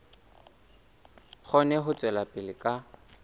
kgone ho tswela pele ka